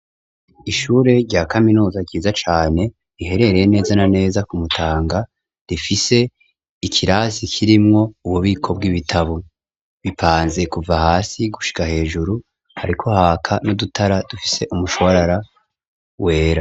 Ishure rya kaminuza ryiza cane riherereye neza na neza ku mutanga rifise ikirasi kirimwo ububiko bw'ibitabo bipanze kuva hasi gushika hejuru hariko haka n'udutara dufise umushwarara wera.